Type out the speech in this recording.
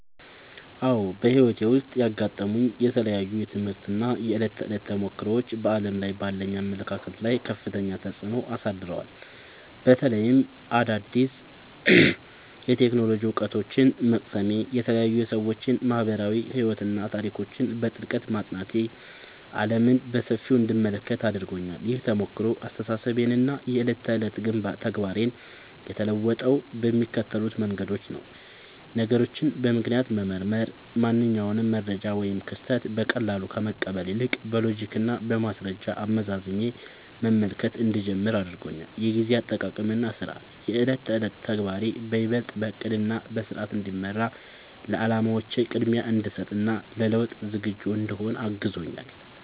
አዎ፣ በሕይወቴ ውስጥ ያጋጠሙኝ የተለያዩ የትምህርት እና የዕለት ተዕለት ተሞክሮዎች በዓለም ላይ ባለኝ አመለካከት ላይ ከፍተኛ ተጽዕኖ አሳድረዋል። በተለይም አዳዲስ የቴክኖሎጂ እውቀቶችን መቅሰሜ፣ የተለያዩ የሰዎች ማኅበራዊ ሕይወትና ታሪኮችን በጥልቀት ማጥናቴ ዓለምን በሰፊው እንድመለከት አድርጎኛል። ይህ ተሞክሮ አስተሳሰቤንና የዕለት ተዕለት ተግባሬን የለወጠው በሚከተሉት መንገዶች ነው፦ ነገሮችን በምክንያት መመርመር፦ ማንኛውንም መረጃ ወይም ክስተት በቀላሉ ከመቀበል ይልቅ፣ በሎጂክና በማስረጃ አመዛዝኜ መመልከት እንድጀምር አድርጎኛል። የጊዜ አጠቃቀምና ሥርዓት፦ የዕለት ተዕለት ተግባሬ ይበልጥ በዕቅድና በሥርዓት እንዲመራ፣ ለዓላማዎቼ ቅድሚያ እንድሰጥ እና ለለውጥ ዝግጁ እንድሆን አግዞኛል።